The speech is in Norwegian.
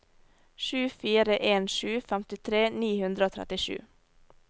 sju fire en sju femtitre ni hundre og trettisju